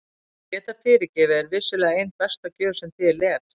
Að geta fyrirgefið er vissulega ein besta gjöf sem til er.